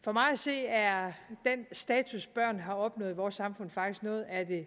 for mig at se er den status børn har opnået i vores samfund faktisk noget af det